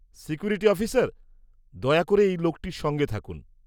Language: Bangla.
-সিকিউরিটি অফিসার, দয়া করে এই লোকটির সঙ্গে থাকুন।